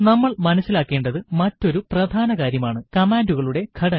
നമ്മൾ മനസിലാക്കേണ്ടത് മറ്റൊരു പ്രധാന കാര്യം ആണ് കമാണ്ടുകളുടെ ഘടന